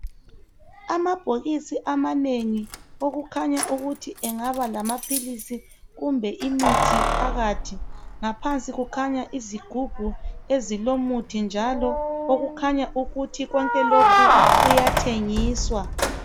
Amabhokisi amanengi okukhanya ukuthi engaba ngamaphilisi kumbe imithi phakathi. Ngaphansi kukhanya izigubhu ezilomuthi njalo okukhanya ukuthi konke lokhu kuyathengiswa.